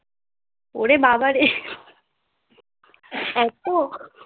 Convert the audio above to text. ওরে বাবারে এত